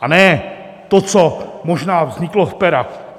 A ne to, co možná vzniklo z pera.